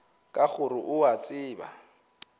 ka gore o a tseba